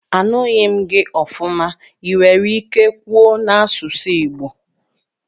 Anughi m gi ofuma, iwere ike kwuo n'asusu igbo?